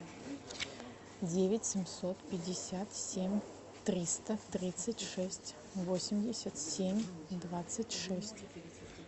девять семьсот пятьдесят семь триста тридцать шесть восемьдесят семь двадцать шесть